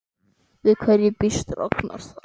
Við hverju býst Ragnar þar?